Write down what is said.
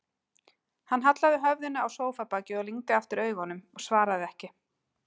Hann hallaði höfðinu á sófabakið og lygndi aftur augunum, svaraði ekki.